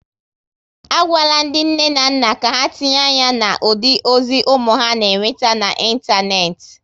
A gwala ndị nne na nna ka ha tinye anya na ụdị ozi ụmụ ha na-enweta na ịntanetị